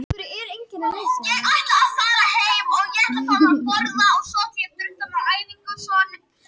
Sama gildir um dómstjóra við héraðsdómstól en hann gegnir svipuðu hlutverki og forseti Hæstaréttar.